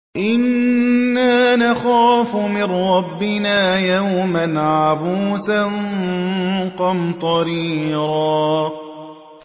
إِنَّا نَخَافُ مِن رَّبِّنَا يَوْمًا عَبُوسًا قَمْطَرِيرًا